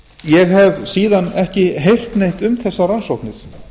ég hef síðan ekki heyrt neitt um þessar rannsóknir